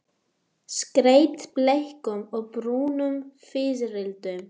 Skreytt bleikum og brúnum fiðrildum.